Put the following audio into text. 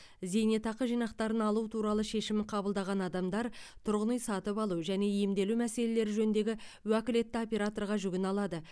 зейнетақы жинақтарын алу туралы шешім қабылдаған адамдар тұрғын үй сатып алу және емделу мәселелері жөніндегі уәкілетті операторға жүгіне алады